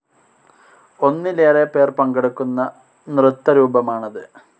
ഒന്നിലേറെ പേർ പങ്കെടുക്കുന്ന നൃത്തരൂപമാണത്‌.